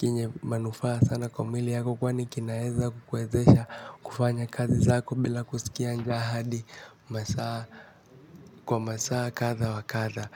kenye manufaa sana kwa mwili wako kwani kinaeza kukuwezesha kufanya kazi zako. Bila kuskia njaa hadi masaa kwa masaa kadha wa kadha.